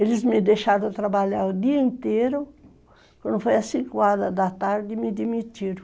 Eles me deixaram trabalhar o dia inteiro, quando foi às cinco horas da tarde me demitiram.